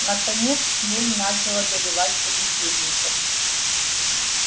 наконец хмель начал одолевать собеседников